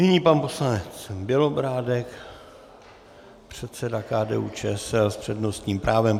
Nyní pan poslanec Bělobrádek, předseda KDU-ČSL s přednostním právem.